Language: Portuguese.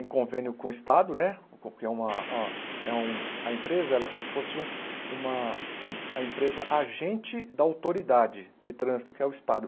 em convênio com o Estado né, porque é uma a é um a empresa é como se fosse uma a empresa agente da autoridade de trânsito, que é o Estado.